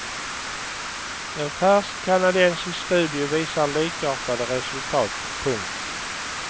En färsk kanadensisk studie visar likartade resultat. punkt